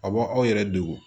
A b' aw yɛrɛ degun